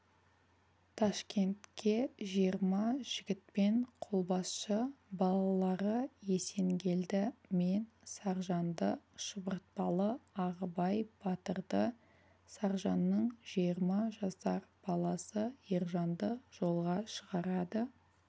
ташкентке жиырма жігітпен қолбасшы балалары есенгелді мен саржанды шұбыртпалы ағыбай батырды саржанның жиырма жасар баласы ержанды жолға шығарады